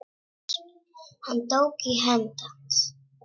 Hann tók í hönd hans.